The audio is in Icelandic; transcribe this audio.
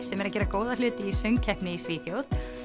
sem er að gera góða hluti í söngkeppni í Svíþjóð